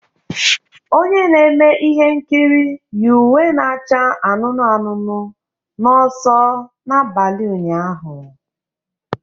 Onye na-eme ihe nkiri yi uwe na-acha anụnụ anụnụ n'ọsọ n'abalị ụnyaahụ